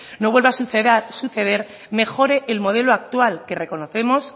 no vuelva a suceder mejore el modelo actual que reconocemos